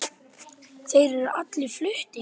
Þeir eru allir fluttir